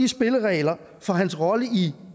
spillereglerne for hans rolle i